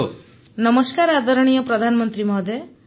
ଅପର୍ଣ୍ଣା ନମସ୍କାର ଆଦରଣୀୟ ପ୍ରଧାନମନ୍ତ୍ରୀ ମହୋଦୟ